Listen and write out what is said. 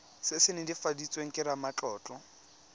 se se netefaditsweng ke ramatlotlo